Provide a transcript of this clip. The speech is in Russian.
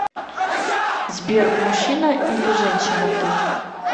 сбер мужчина или женщина ты